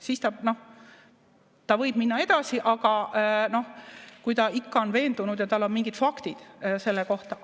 Siis ta võib minna edasi, kui ta ikka on veendunud ja tal on mingid faktid selle kohta.